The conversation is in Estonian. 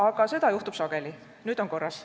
Aga seda juhtub, nüüd on korras.